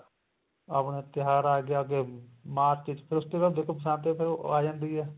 ਆਪਣੇ ਤਿਉਹਾਰ ਆ ਗਏ ਅੱਗੇ ਮਾਰਚ ਵਿੱਚ ਫ਼ਿਰ ਉਸ ਤੋਂ ਬਾਅਦ ਦੇਖੋ ਬਸੰਤ ਆ ਜਾਂਦੀ ਏ